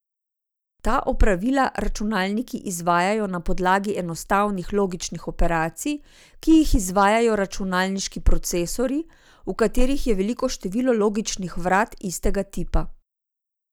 Ta opravila računalniki izvajajo na podlagi enostavnih logičnih operacij, ki jih izvajajo računalniški procesorji, v katerih je veliko število logičnih vrat istega tipa.